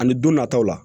Ani don nataw la